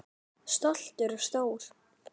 Stoltur og stór.